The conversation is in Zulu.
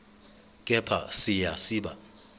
kepha siya siba